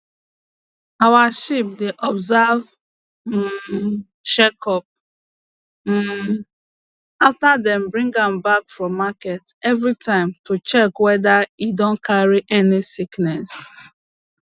our sheep dey observe um check up um after dem bring am back from market every time to check whether e don carry any sickness